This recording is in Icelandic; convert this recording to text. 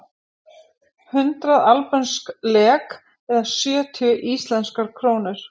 Hundrað albönsk lek eða sjötíu íslenskar krónur.